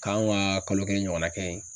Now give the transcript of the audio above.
K'anw ka kalo ɲɔgɔnna kɛ ye